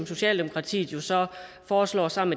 socialdemokratiet foreslår sammen